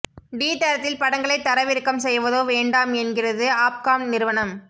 D தரத்தில் படங்களைத் தரவிறக்கம் செய்வதோ வேண்டாம் என்கிறது ஆஃப்காம் நிறுவனம்